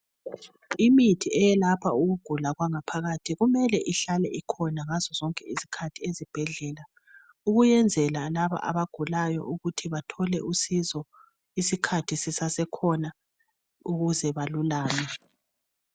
Imithi eyelapha ukugula kwangaphakathi kumele ihlale ikhona ngazo zonke izikhathi ezibhedlela ukuyenzela labo abagulayo ukuthi bathole usizo isikhathi sisasekhona ukuze balulame.